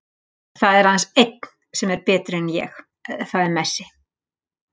Það er aðeins einn sem er betri en ég, það er Messi.